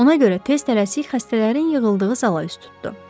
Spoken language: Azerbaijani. Ona görə tez tələsik xəstələrin yığıldığı zala üz tutdu.